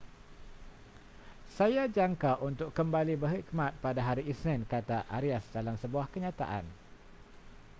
saya jangka untuk kembali berkhidmat pada hari isnin kata arias dalam sebuah kenyataan